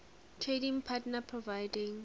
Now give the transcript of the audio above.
trading partner providing